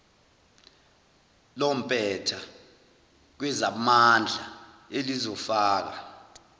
lompetha kwezamandla elizofaka